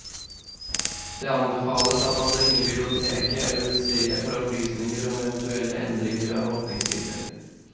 Det anbefales at man ringer biblioteket eller museet for opplysninger om eventuelle endringer av åpningstider.